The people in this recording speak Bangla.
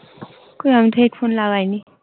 কোই আমি তো headphone লাগাইনি?